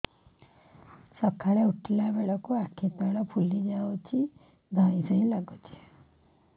ସକାଳେ ଉଠିଲା ବେଳକୁ ଆଖି ତଳ ଫୁଲି ଯାଉଛି ଧଇଁ ସଇଁ ଲାଗୁଚି